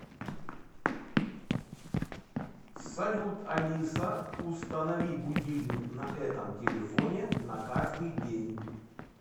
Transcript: салют алиса установи будильник на этом телефоне на каждый день